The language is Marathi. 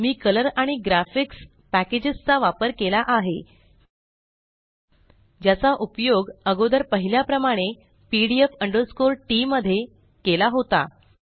मी कलर आणि ग्राफिकएक्स पॅकेजस चा वापर केला आहे ज्याचा उपयोग अगोदर पहिल्या प्रमाणे pdf tपिडीऍफ़ टी मध्ये केला होता